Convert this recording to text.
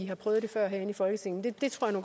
har prøvet det før herinde i folketinget det tror jeg